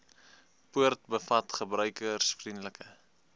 poort bevat gebruikersvriendelike